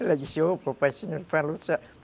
Ela disse, ô, papai senhor, fala sério.